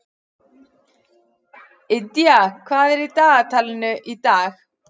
Indía, hvað er í dagatalinu í dag?